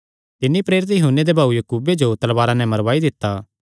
तिन्नी प्रेरित यूहन्ने दे भाऊये याकूबे जो तलवारा नैं मरवाई दित्ता